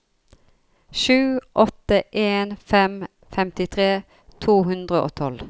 sju åtte en fem femtitre to hundre og tolv